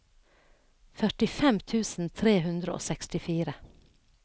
førtifem tusen tre hundre og sekstifire